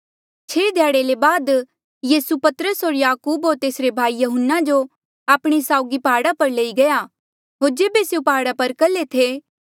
छेह ध्याड़े ले बाद यीसू पतरस होर याकूब होर तेसरे भाई यहून्ना जो आपणे साउगी प्हाड़ा पर लई गया होर जेबे स्यों प्हाड़ा पर कल्हे थे